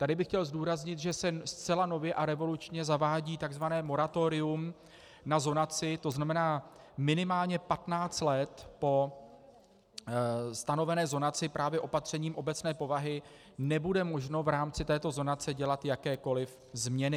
Tady bych chtěl zdůraznit, že se zcela nově a revolučně zavádí tzv. moratorium na zonaci, to znamená, minimálně 15 let po stanovené zonaci právě opatřením obecné povahy nebude možno v rámci této zonace dělat jakékoliv změny.